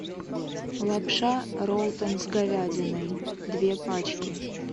лапша ролтон с говядиной две пачки